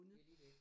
Det lige det